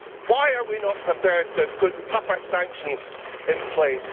Why are we not prepared to put tougher sanctions in place?